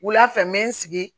Wula fɛ n bɛ n sigi